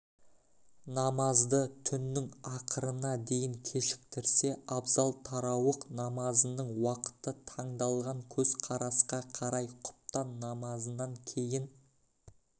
намазды түннің ақырына дейін кешіктірсе абзал тарауых намазының уақыты таңдалған көзқарасқа қарай құптан намазынан кейін